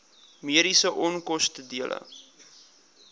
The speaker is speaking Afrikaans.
mediese onkoste dele